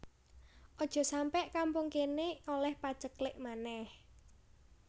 Ojok sampe kampung kene oleh paceklik maneh